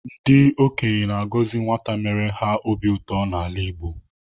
Ndị okenye na-agọzi nwata mere ha obi ụtọ n'ala Igbo.